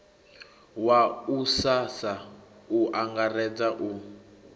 wa ussasa u angaredza u